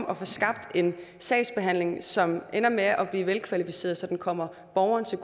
om få skabt en sagsbehandling som ender med at blive velkvalificeret så den kommer borgeren til